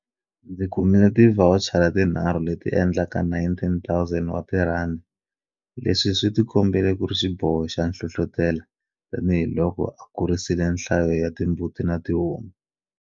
Ndzi kumile tivhawuchara tinharhu leti endlaka R19 000. Leswi swi tikombile ku ri xiboho xa nhlohlotelo, tanihiloko a kurisile nhlayo ya timbuti na tihomu.